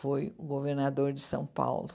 foi o governador de São Paulo.